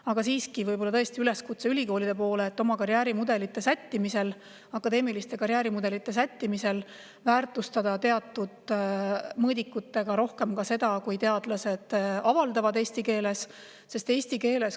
Aga siiski on tõesti üleskutse ülikoolidele väärtustada oma akadeemilise karjääri mudelite teatud mõõdikutega rohkem ka seda, kui teadlased avaldavad eesti keeles.